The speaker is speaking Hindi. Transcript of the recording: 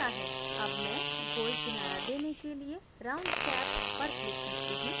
अब मैं गोल किनारा देने के लिए round cap पर click करती हूँ